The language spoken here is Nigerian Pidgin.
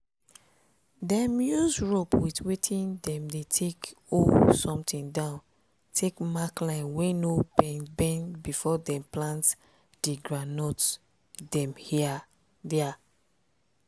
dem use rope wit wetin dem dey take hol something down take mark line wey no bend bend before dem plant di groundnut dem dia.